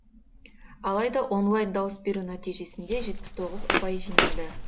алайда онлайн дауыс беру нәтижесінде жетпіс тоғыз ұпай жинады